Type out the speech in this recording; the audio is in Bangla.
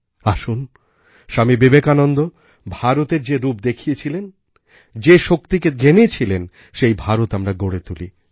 আসুনস্বামী বিবেকানন্দ ভারতের যে রূপ দেখেছিলেন যেশক্তিকে জেনেছিলেন সেই ভারত আমরা গড়ে তুলি